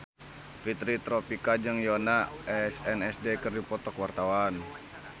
Fitri Tropika jeung Yoona SNSD keur dipoto ku wartawan